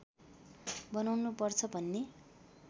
बनाउनु पर्छ भन्ने